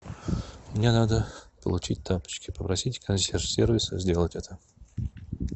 мне надо получить тапочки попросите консьерж сервис сделать это